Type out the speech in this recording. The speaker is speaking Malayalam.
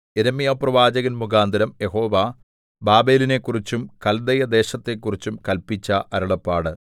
യിരെമ്യാപ്രവാചകൻ മുഖാന്തരം യഹോവ ബാബേലിനെക്കുറിച്ചും കല്ദയദേശത്തെക്കുറിച്ചും കല്പിച്ച അരുളപ്പാട്